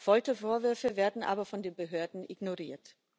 Foltervorwürfe werden aber von den Behörden ignoriert.